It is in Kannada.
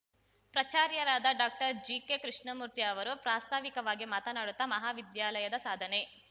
ಪ್ರಚಾರ್ಯರಾದ ಡಾಕ್ಟರ್ ಜಿಕೆ ಕೃಷ್ಣಮೂರ್ತಿ ಅವರು ಪ್ರಾಸ್ತಾವಿಕವಾಗಿ ಮಾತನಾಡುತ್ತಾ ಮಹಾವಿದ್ಯಾಲಯದ ಸಾಧನೆ